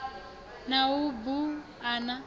na u bu a na